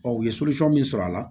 u ye min sɔrɔ a la